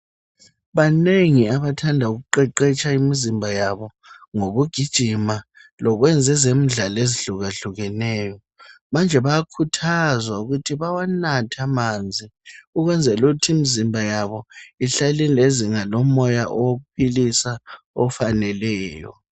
Banengi abathanda ukuqeqetsha imizimba yabo ngokugijima lokwenza ezemidlalo ezihlukahlukeneyo manje bayakhuthazwa ukuthi bawanathe amanzi ukwenzela ukuthi imizimba yabo ihlale ilezinga lomoya owokuphilisa ofaneleyo.